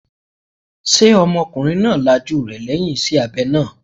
Ṣé ọmọkùnrin náà lajú rẹ̀ lẹ́yìn iṣẹ́ abẹ náà?